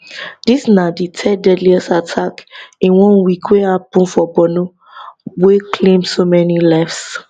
dis na di third deadliest attack in one week wey happun for borno wey claim so many lives